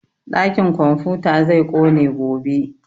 Ɗakin komfuta zai ƙone gobe